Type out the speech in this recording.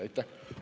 Aitäh!